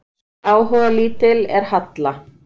hversu áhugalítil er halla